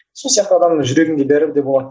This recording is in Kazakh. сол сияқты адамның жүрегінде бәрі де болады